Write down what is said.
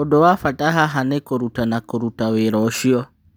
ũndũ wa bata haha nĩ kũrũtana kũruta wĩra ũcio.